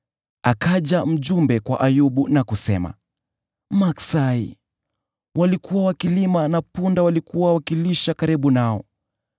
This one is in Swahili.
akaja mjumbe kwa Ayubu na kusema, “Maksai walikuwa wakilima na punda walikuwa wakilisha karibu nao,